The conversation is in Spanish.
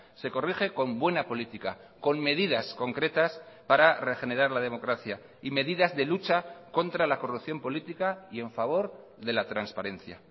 se corrige con buena política con medidas concretas para regenerar la democracia y medidas de lucha contra la corrupción política y en favor de la transparencia